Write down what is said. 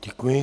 Děkuji.